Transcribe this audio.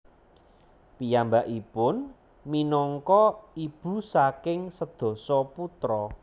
Piyambakipun minangka ibu saking sedasa putra